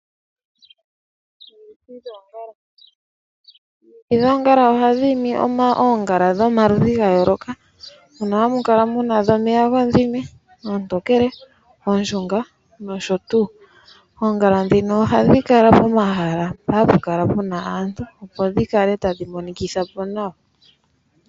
Omiti dhoongala oha dhiimi oongala dhomaludhi ga yooloka. Mono hamu kala muna dhomeya godhime, oontokele, ooshunga nosho tuu. Oongala dhino ohadhi kala pomahala mpoka hapu kala puna aantu, opo dhi kale tadhi monikitha po nawa.